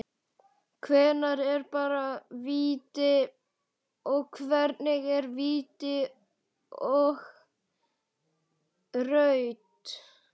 Hvenær er bara víti, og hvenær er víti og rautt??